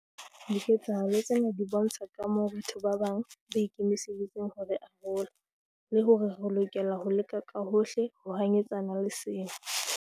Diketsahalo tsena di bontsha kamoo batho ba bang ba ikemiseditseng ho re arola, le hore re lokela ho leka ka hohle ho hanyetsana le sena.